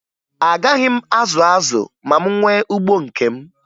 Agaghị m azụ azụ ma m nwee ugbo nke m